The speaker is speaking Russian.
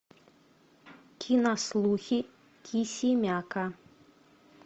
кинослухи кисимяка